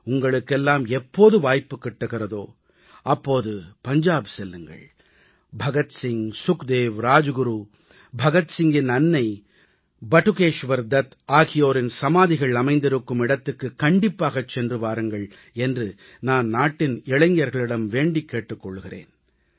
உங்களுக்கெல்லாம் எப்போது வாய்ப்புக் கிட்டுகிறதோ அப்போது பஞ்சாப் செல்லுங்கள் பகத்சிங் சுக்தேவ் ராஜ்குரு பகத்சிங்கின் அன்னை படுகேஷ்வர் தத் ஆகியோரின் சமாதிகள் அமைந்திருக்கும் இடத்துக்கு கண்டிப்பாகச் சென்று வாருங்கள் என்று நான் நாட்டின் இளைஞர்களிடம் வேண்டிக் கொள்கிறேன்